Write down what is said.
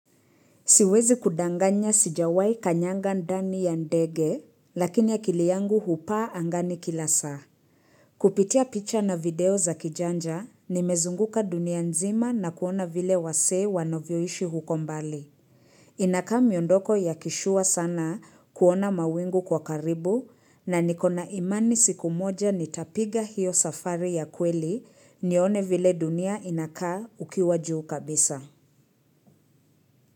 Siwezi kudanganya sijawai kanyanga ndani ya ndege, lakini akili yangu hupaa angani kila saa. Kupitia picha na video za kijanja, nimezunguka dunia nzima na kuona vile wasee wanovyoishi huko mbali. Inaka miondoko ya kishua sana kuona mawingu kwa karibu na nikona imani siku moja nitapiga hiyo safari ya kweli nione vile dunia inakaa ukiwa juu kabisa.